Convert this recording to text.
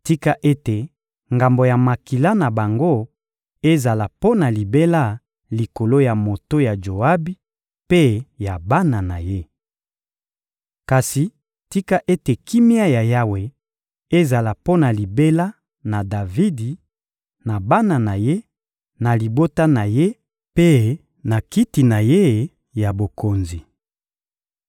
Tika ete ngambo ya makila na bango ezala mpo na libela likolo ya moto ya Joabi mpe ya bana na ye. Kasi tika ete kimia ya Yawe ezala mpo na libela na Davidi, na bana na ye, na libota na ye mpe na kiti na ye ya bokonzi.